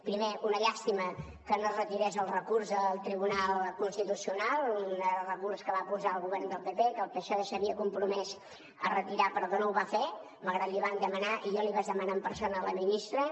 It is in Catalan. primer una llàstima que no es retirés el recurs al tribunal constitucional un recurs que va posar el govern del pp i que el psoe s’havia compromès a retirar però que no ho va fer malgrat que l’hi vam demanar i jo l’hi vaig demanar en persona a la ministra